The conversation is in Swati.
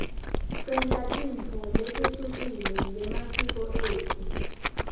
senta tintfo letehlukile ngemasiko etfu